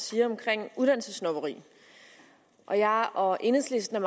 siger om uddannelsessnobberi og jeg og enhedslisten er